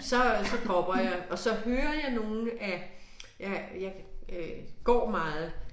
Så så dropper jeg og så hører jeg nogle af ja jeg øh går meget